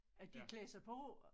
At de klæder sig på